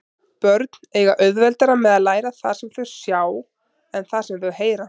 Börn eiga auðveldara með að læra það sem þau sjá en það sem þau heyra.